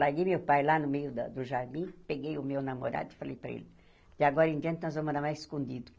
Larguei meu pai lá no meio da do jardim, peguei o meu namorado e falei para ele, de agora em diante nós vamos namorar escondido.